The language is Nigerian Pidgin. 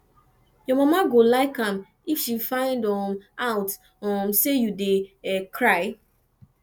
your mama no go like am if she find um out um say you dey cry